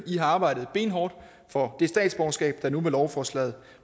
i har arbejdet benhårdt for det statsborgerskab der nu med lovforslaget